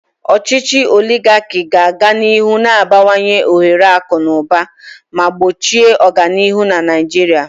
Ochichi oligaki ga-aga n'ihu na-abawanye ohere akụ na ụba ma gbochie ọganihu na Naijiria.